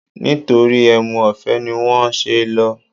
Nítorí ẹmu ọ̀fẹ́ ni wọ́n ṣe lọ